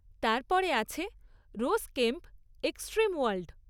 তারপরে আছে rose camp, extreme world.